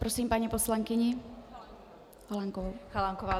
Prosím paní poslankyni Chalánkovou.